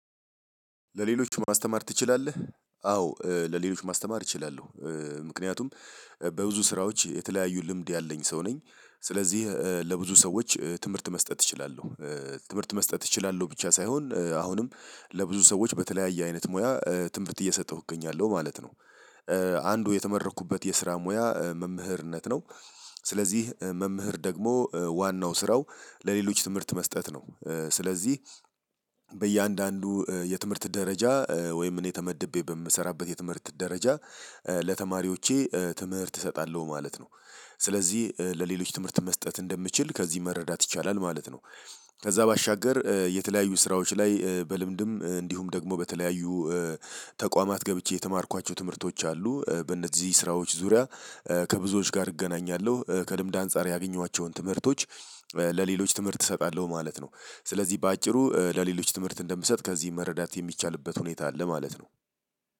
ለሌሎች ማስተማር ትችላለህ? አዎ ለሌሎች ማስተማር እችላለሁ። ምክንያቱም በብዙ ስራዎች የተለያዩ ልምድ ያለኝ ሰው ነኝ። ስለዚህ ለብዙ ሰዎች ትምህርት መስጠት እችላለሁ። ትምህርት መስጠት እችላለሁ ብቻ ሳይሆን አሁንም ለብዙ ሰዎች በተለያየ አይነት ሙያ ትምህርት እየሰጠሁኝ እገኛለሁ ማለት ነው። አንዱ የተመረኩበት የስራ ሙያ መምህርነት ነው። ስለዚህ መምህር ደግሞ ዋናው ስራው ለሌሎች ትምህርት መስጠት ነው። ስለዚህ በእያንዳንዱ የትምህርት ደረጃ ወይም እኔ ተመድቤ በምሰራበት የትምህርት ደረጃ ለተማሪዎቼ ትምህርት እሰጣለሁ ማለት ነው። ስለዚህ ለሌሎች ትምህርት መስጠት እንደምችል ከዚህ መረዳት ይቻላል ማለት ነው። ከዛ ባሻገር የተለያዩ ስራዎች ላይ በልምድም እንዲሁም ደግሞ በተለያዩ ተቋማት ገብቼ የተማርኳቸው ትምህርቶች አሉ። በእነዚህ ስራዎች ዙሪያ። ከብዙዎች ጋር እገናኛለሁ ከልምድ አንፃር ያገኘኋቸውን ትምህርቶች ለሌሎች ትምህርት እሰጣለሁ ማለት ነው። ስለዚህ በአጭሩ ለሌሎች ትምህርት እንደምሰጥ ከዚህ መረዳት የሚቻልበት ሁኔታ አለ ማለት ነው።